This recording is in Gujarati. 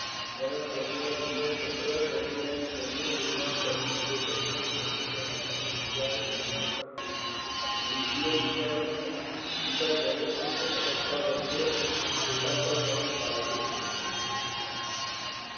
વનસ્પતિના જીવનચક્ર દરમિયાન જન્યુ નિર્માણ કરતી એકકીય જન્યુજનક અને બીજાણુ નિર્માણ કરતી દ્વિકીય બીજાણુજનક અવસ્થા વચ્ચે એકાંતરજનન થાય છે.